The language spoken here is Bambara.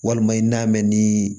Walima i n'a mɛn ni